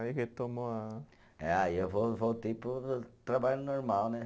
Aí retomou a. Eh aí eu vou voltei para o trabalho normal, né?